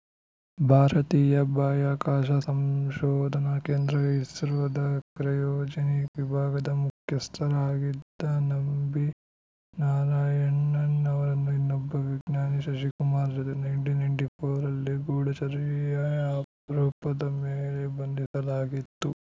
ಭಾರತೀಯ ಬಾಹ್ಯಾಕಾಶ ಸಂಶೋಧನಾ ಕೇಂದ್ರ ಇಸ್ರೋದ ಕ್ರಯೋಜೆನಿಕ್‌ ವಿಭಾಗದ ಮುಖ್ಯಸ್ಥರಾಗಿದ್ದ ನಂಬಿ ನಾರಾಯಣನ್‌ ಅವರನ್ನು ಇನ್ನೊಬ್ಬ ವಿಜ್ಞಾನಿ ಶಶಿಕುಮಾರ್‌ ಜೊತೆ ನೈನ್ಟಿನೈನ್ತ್ಯಫೌರ್ ರಲ್ಲಿ ಗೂಢಚರ್ಯೆ ಆರೋಪದ ಮೇಲೆ ಬಂಧಿಸಲಾಗಿತ್ತು